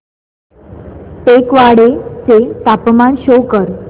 टेकवाडे चे तापमान शो कर